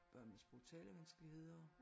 Børn med sprog talevanskeligheder